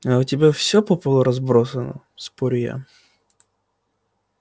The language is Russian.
а у тебя всё по полу разбросано спорю я